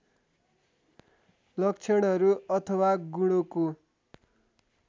लक्षणहरू अथवा गुणोंको